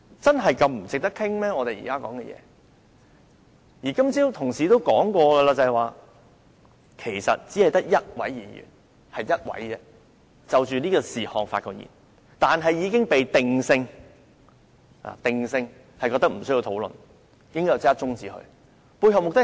正如今早有同事提出，只有一位議員就這議題發言，但議題已經被定性為無需討論，應該立刻中止待續，背後目的是甚麼？